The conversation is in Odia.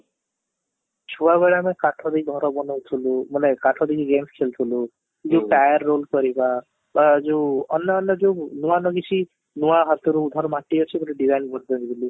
ଛୁଆ ବେଳେ ଆମେ କାଠ ଦେଇ ଘର ବନଉଥିଲୁ ମାନେ କାଠ ଦେଇ game ଖେଲୁଥିଲୁ, ଯଉ fire wood କରିବା ବା ଯଉ ଅନ୍ୟ ଅନ୍ୟ ଯଉ ନୂଆ ନୂଆ ମିଶି ନୂଆ ହାତରୁ ମୋର ମାଟି ଅଛି ବୋଲି design ବହୁତ ଭଲ କରୁଥିଲି